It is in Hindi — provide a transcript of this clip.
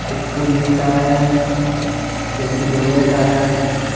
एक पुल दिख रहा है जो कि लोहे का है।